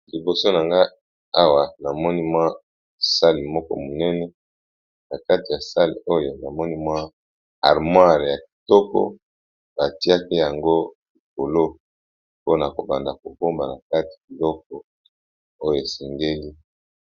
Liboso na nga awa namoni mwa sale moko monene na kati ya sale oyo namoni mwa armoire ya kitoko batiaka yango likolo mpona kobanda kobomba na kati biloko oyo esengeli.